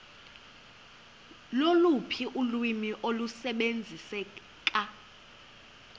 loluphi ulwimi olusebenziseka